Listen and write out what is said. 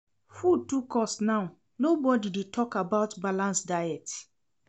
Food too cost now, nobodi dey tok about balanced diet.